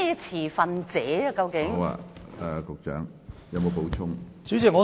持份者究竟是指何人？